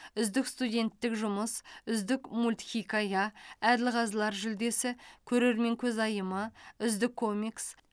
үздік студенттік жұмыс үздік мультхикая әділқазылар жүлдесі көрермен көзайымы үздік комикс